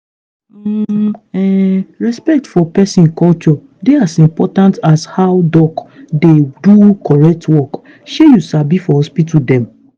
hmmm um respect for peson culture dey as important as how doc dey do correct work shey you sabi for hospital dem.